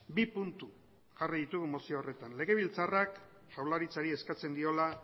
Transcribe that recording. bi puntu jarri ditugu mozio horretan legebiltzarrak jaurlaritzari eskatzen diola